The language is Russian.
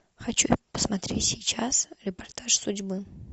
хочу посмотреть сейчас репортаж судьбы